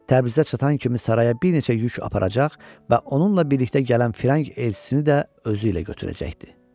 Təbrizə çatan kimi saraya bir neçə yük aparacaq və onunla birlikdə gələn firəng elçisini də özü ilə götürəcəkdi.